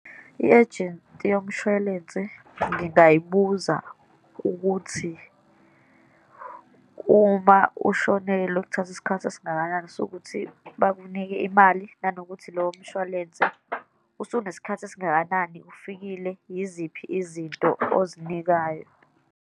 I-ejenti yomshwalense ngingayibuza ukuthi, uma ushonelwe kuthatha isikhathi esingakanani sokuthi bakunike imali, nanokuthi lowo mshwalense usunesikhathi esingakanani ufikile, yiziphi izinto ozinikayo.